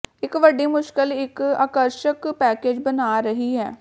ਇੱਕ ਵੱਡੀ ਮੁਸ਼ਕਲ ਇੱਕ ਆਕਰਸ਼ਕ ਪੈਕੇਜ ਬਣਾ ਰਹੀ ਹੈ